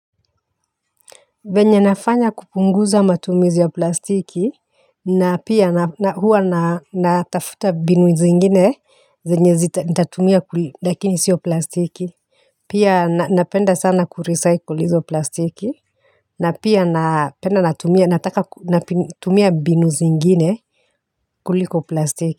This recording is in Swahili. Venye nafanya kupunguza matumizi ya plastiki ni na pia na huwa na natafuta mbinu zingine zenye zita nitatumia kuli, lakini sio plastiki, pia na napenda sana kurecycle izo plastiki na pia napenda natumia, na taka natumia mbinu zingine kuliko plastiki.